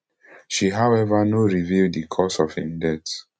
she however no reveal di cause of im death